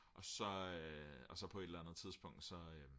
og så på et eller andet tidspunkt så